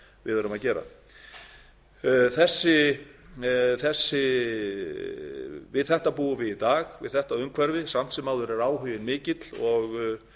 við erum að gera við þetta umhverfi búum við við í dag samt sem áður er áhuginn mikill og